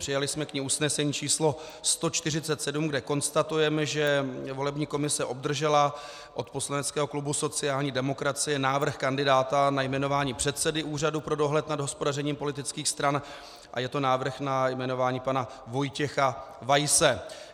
Přijali jsme k ní usnesení číslo 147, kde konstatujeme, že volební komise obdržela od poslaneckého klubu sociální demokracie návrh kandidáta na jmenování předsedy Úřadu pro dohled nad hospodařením politických stran a je to návrh na jmenování pana Vojtěcha Weise.